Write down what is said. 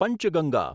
Panchganga